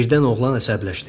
Birdən oğlan əsəbləşdi.